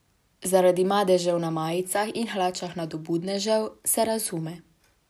Zaradi madežev na majicah in hlačah nadobudnežev, se razume.